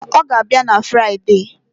Mba, ọ ga-abịa na Friade.